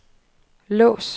lås